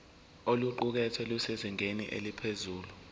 oluqukethwe lusezingeni eliphezulu